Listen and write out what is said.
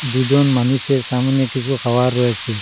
দুজন মানুষের সামোনে কিসু খাবার রয়েসে ।